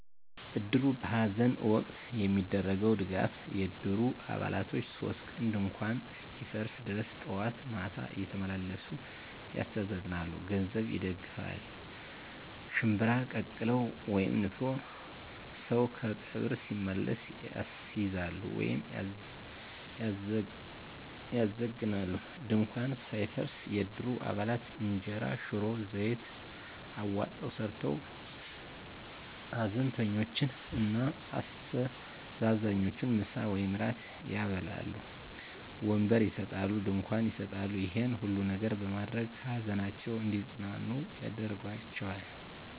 እድሩ በሐዘን ወቅት የሚያደርገዉ ድጋፍ የእድሩ አባላቶች 3 ቀን ድንኳኑ እስኪፈርስ ድረስ ጠዋት ማታ እየተመላለሱ ያስተዛዝናሉ። ገንዘብ ይደግፋል፣ ሽንብራ ቀቅለዉ (ንፍሮ) ሰዉ ከቀብር ሲመለስ ያስይዛሉ(ያዘግናሉ) ፣ ድንኳኑ ሳይፈርስ የእድሩ አባላት እንጀራ፣ ሽሮ፣ ዘይት አዋጠዉ ሰርተዉ ሀዘንተኞችን እና አስተዛዛኞችን ምሳ ወይም እራት ያበላሉ። ወንበር ይሰጣሉ፣ ድንኳን ይሰጣሉ ይሄን ሁሉ ነገር በማድረግ ከሀዘናቸዉ እንዲፅናኑ ያደርጓቸዋል።